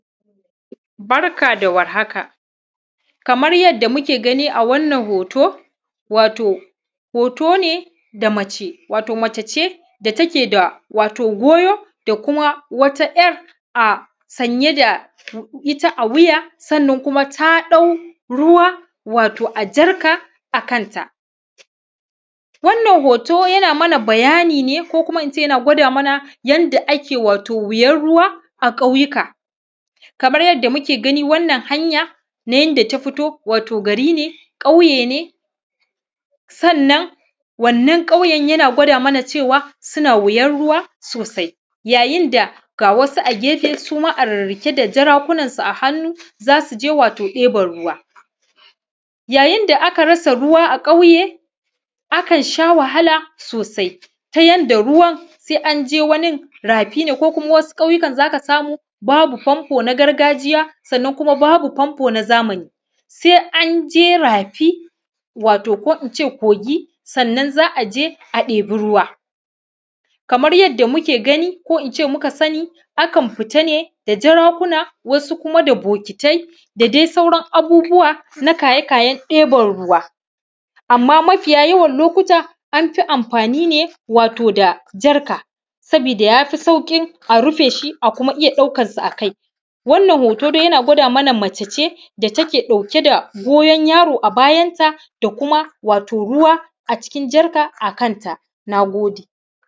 Barka da war haka. Kamar yadda muke gani a wannan hoto, wato hoto ne da mace, wato mace ce da take da wato goyo da kuma wata ‘yar a sanye da a sanye da ita a wuya, sannan kuma ta ɗau ruwa, wato a jarka a kanta. Wannan hoto yana mana bayani ne ko kuma in ce yana gwada mana yanda ake wato wuyar ruwa a ƙauyuka. Kamar yadda muke gani, wannan hanya na yanda ta firo, wato gari ne, ƙauye ne, sannan wannan ƙauyen yana gwada mana cewa suna wuyar ruwa sosai. Yayin da ga wasu a gefe su ma a rirriƙe da jarakunansu a hannu, za su je wato ɗeban ruwa. Yayin da aka rasa ruwa a ƙauye, akan sha wahala sosai, ta yanda ruwan sai an je wani rafi ne ko kuma wasu ƙauyukan za ka samu babu famfo na gargajiya, sannan kuma babu famfo na zamani. Sai an je rafi, wato ko in ce kogi, sannan za a je a ɗebi ruwa. Kamar yadda muke gani, ko in ce muka sani, akan fita ne da jarakuna, wasu kuma da bokitai da dai sauran abubuwa na kaye-kayen ɗeban ruwa. Amma mafiya yawan lokuta, an fi amfai ne wato da jarka, sabida ya fi sauƙin a rufe shi a kuma iya ɗaukarsa a kai. Wannan hoto dai yana gwada mana mace ce da take ɗauke da goyon yaro a bayanta da kuma wato ruwa a cikin jarka a kanta. Na gode.